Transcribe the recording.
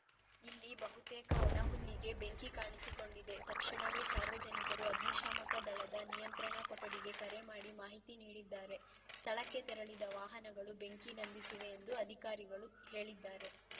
ಇಲ್ಲಿ ಬಹುತೇಕ ಒಣ ಹುಲ್ಲಿಗೆ ಬೆಂಕಿ ಕಾಣಿಸಿಕೊಂಡಿದೆ ತಕ್ಷಣವೇ ಸಾರ್ವಜನಿಕರು ಅಗ್ನಿಶಾಮಕ ದಳದ ನಿಯಂತ್ರಣ ಕೊಠಡಿಗೆ ಕರೆ ಮಾಡಿ ಮಾಹಿತಿ ನೀಡಿದ್ದಾರೆ ಸ್ಥಳಕ್ಕೆ ತೆರಳಿದ ವಾಹನಗಳು ಬೆಂಕಿ ನಂದಿಸಿವೆ ಎಂದು ಅಧಿಕಾರಿಗಳು ಹೇಳಿದ್ದಾರೆ